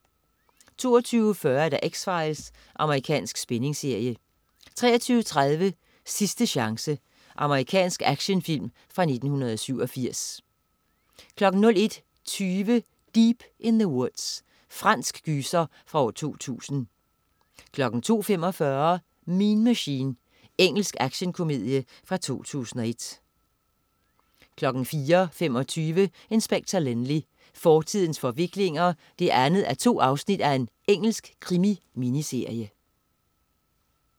22.40 X-Files. Amerikansk spændingsserie 23.30 Sidste chance. Amerikansk actionfilm fra 1987 01.20 Deep in the Woods. Fransk gyser fra 2000 02.45 Mean Machine. Engelsk actionkomedie 2001 04.25 Inspector Lynley. Fortidens forviklinger 2:2. Engelsk krimi-miniserie